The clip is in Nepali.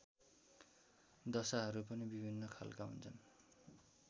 दशाहरू पनि विभिन्न खालका हुन्छन्